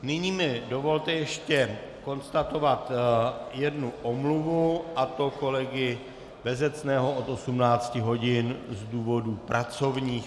Nyní mi dovolte ještě konstatovat jednu omluvu, a to kolegy Bezecného od 18 hodin z důvodů pracovních.